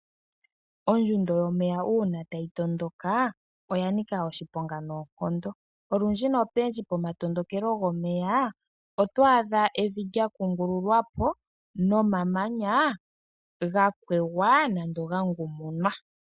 Ondjundo yomeya uuna taga tondoka oya nika oshiponga noonkondo. Olundji nopendji pomatondokelo gomeya oto adha evi lya kungululwa po nomamanya ga kwegwa nenge ga ngumunwa.